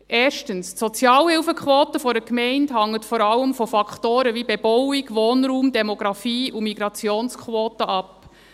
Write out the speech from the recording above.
Erstens: Die Sozialhilfequote einer Gemeinde hängt vor allem von Faktoren wie Bebauung, Wohnraum, Demographie und Migrationsquote ab.